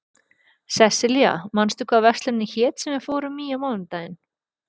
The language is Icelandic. Sessilía, manstu hvað verslunin hét sem við fórum í á mánudaginn?